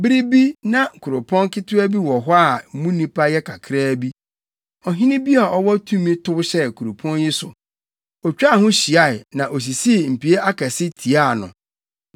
Bere bi na kuropɔn ketewa bi wɔ hɔ a mu nnipa yɛ kakraa bi. Ɔhene bi a ɔwɔ tumi tow hyɛɛ kuropɔn yi so, otwaa ho hyiae na osisii mpie akɛse tiaa no.